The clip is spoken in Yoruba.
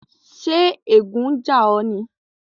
Ṣè ègùn n jà o ní?